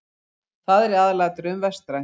Það er í aðalatriðum vestrænt.